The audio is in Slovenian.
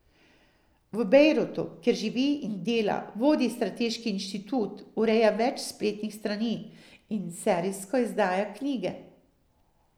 V Bejrutu, kjer živi in dela, vodi strateški inštitut, ureja več spletnih strani in serijsko izdaja knjige.